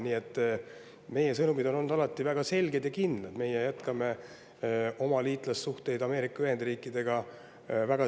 Nii et meie sõnumid on olnud alati väga selged ja kindlad: meie jätkame oma liitlassuhteid Ameerika Ühendriikidega.